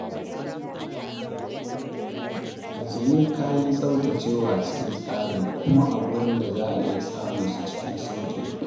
Ajiye kayan tsaftacewa cikin tsari kuma a wurin da za a iya samunsu cikin sauƙi.